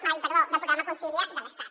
ai perdó del programa concilia de l’estat